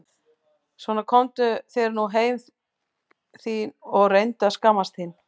Svona komdu þér nú heim þín og reyndu að skammast þín!